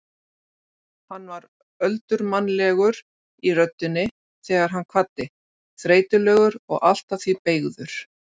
Hann var öldurmannlegur í röddinni þegar hann kvaddi, þreytulegur og allt að því beygður.